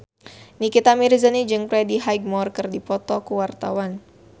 Nikita Mirzani jeung Freddie Highmore keur dipoto ku wartawan